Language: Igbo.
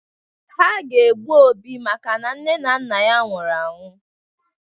Ha ga-egbu Obi makana nne na nna ya nwụrụ anwụ.